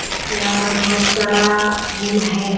यहाँ पर बहुत सारा फूल है।